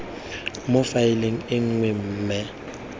mo faeleng e nngwe mme